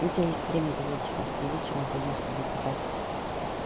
у тебя есть время до вечера а вечером пойдём с тобой копать